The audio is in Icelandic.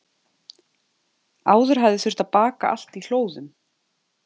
Áður hafði þurft að baka allt í hlóðum.